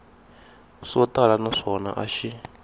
swo tala naswona a xi